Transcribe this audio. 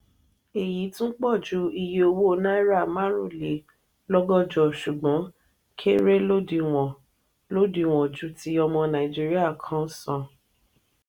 èyí tún pọju iye owó náírà marunlelogojo sùgbón kéré lodiwon lodiwon ju ti ọmọ nàìjíríà kan san.